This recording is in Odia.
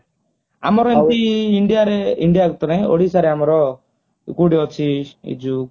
ଆମର ଏମିତି india ରେ india ରେ ତ ନାଇଁ ଓଡିଶା ରେ ଆମର କୋଉଠି ଅଛି ଇଏ ଯୋଉ